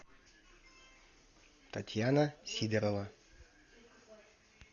татьяна сидорова